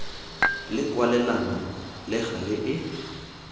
le kwalelano le gale e